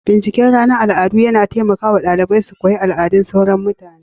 bikin ranar al'adu yana taimaka wa ɗalibai su koyi al'adun sauran mutane